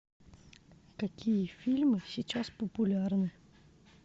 какие фильмы сейчас популярны